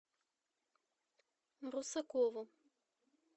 русакову